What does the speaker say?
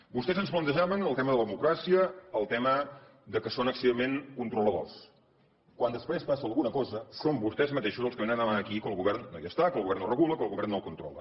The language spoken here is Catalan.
vostès ens plantejaven el tema de la democràcia el tema que som excessivament controladors quan després passa alguna cosa són vostès mateixos els que vénen a demanar aquí que el govern no hi està que el govern no regula que el govern no controla